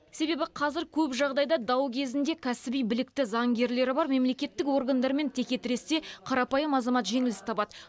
себебі қазір көп жағдайда дау кезінде кәсіби білікті заңгерлері бар мемлекеттік органдармен текетіресте қарапайым азамат жеңіліс табады